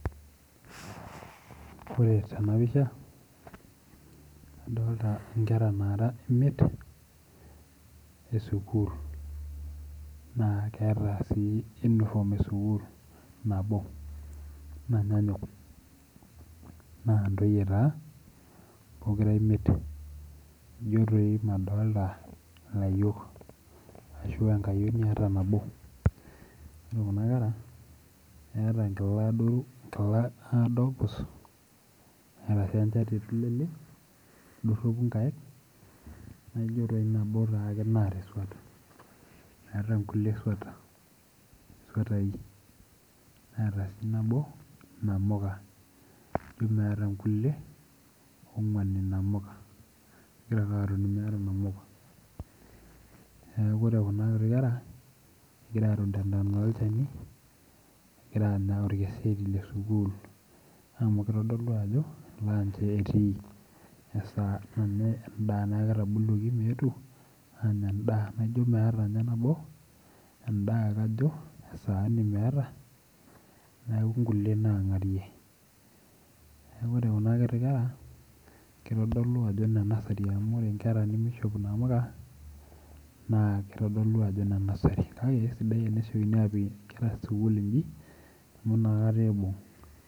Ore tenapisha adolta nkera nara imiet esukul na keeta si uniform esukul nanyanyuk na ntoyie taa pokira imiet ijo madolta ilayiok ashu enkayioni ore kuna kera eeta enkila naado pus neeta emchat tulelei najo nabo naata esueta ajo nabo ake naata esueta neeta si nabo in amuka joo meeta kunda kulie inamuka neaku ore kuna kuuti keta egira atoni tentanata olchani anya orkeseri tesukul amu kitodolu ajoesaa enyae endaa neaku ketaboluoki meeta esaa nanya endaa kajo esanu meeta neaku nkulie naangarie neaku ore kuna kera na kitodolu ajo nenasaru amu ninche nimishop i anamuka na kitadilu ajo nenasaru kisidai tenesiekini apik nkera sukul nji amu inakata eibung.